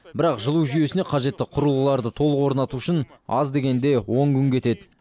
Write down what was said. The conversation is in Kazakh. бірақ жылу жүйейсіне қажетті құрылғыларды толық орнату үшін аз дегенде он күн кетеді